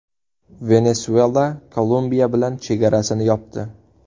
Venesuela Kolumbiya bilan chegarasini yopdi.